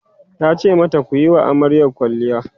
tace mata "kuyi wa amaryar kwalliya!"